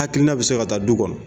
Hakilina bi se ka taa du kɔnɔ